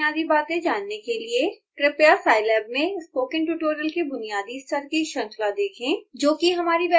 scilab की बुनियादी बातें जानने के लिए कृपया scilab में स्पोकन ट्यूटोरियल के बुनियादी स्तर की श्रृंखला देखें